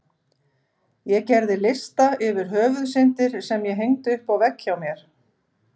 Ég gerði lista yfir Höfuðsyndir sem ég hengdi upp á vegg hjá mér.